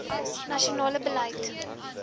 nasionale beleid t